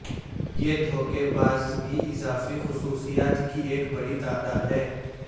یہ دھوکے باز بھی اضافی خصوصیات کی ایک بڑی تعداد ہے